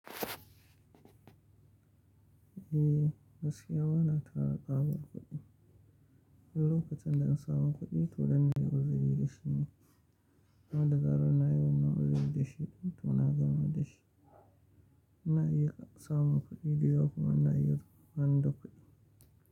Eh, gaskiya wa na tara babbar kuɗi. Wani lokacin da in samu kuɗi to danna yi arziki da shi ne. Wanda zarar nayi wannan uzuri da shi, toh na gamar dashi. Na iya samun kuɗi dayawa kuma na iya bani da kuɗi.